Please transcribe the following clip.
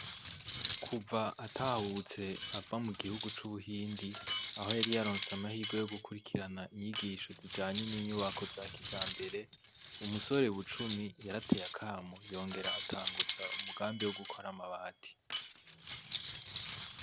Kuva atahutse ava mu gihugu c'Ubuhindi aho yari yaronse amahirwe yo gukurikirana inyigisho zijanye n'inyubako za kijambere, umusore bucumi yarateye akamo yongera atanguza umugambi wo gukora amabati.